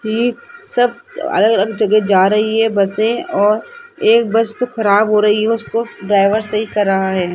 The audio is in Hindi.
ये सब अलग अलग जगह जा रही है बसे और एक बस तो खराब हो रही है उसको ड्राइवर सही कर रहा है।